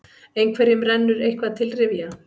Einhverjum rennur eitthvað til rifja